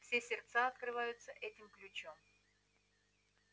все сердца открываются этим ключом